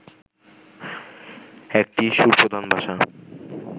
একটি সুরপ্রধান ভাষা